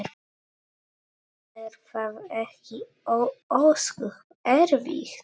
Er það ekki ósköp erfitt?